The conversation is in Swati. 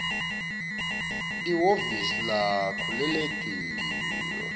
lihhovisi lakho lelitiko